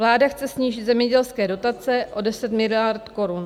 Vláda chce snížit zemědělské dotace o 10 miliard korun.